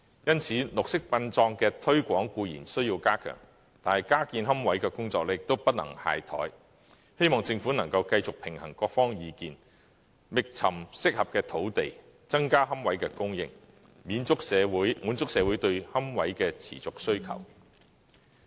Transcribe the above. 因此，綠色殯葬的推廣固然需要加強，但加建龕位的工作也不能懈怠，希望政府能夠繼續平衡各方意見，覓尋適合的土地，增加龕位的供應，滿足社會對龕位的持續需求。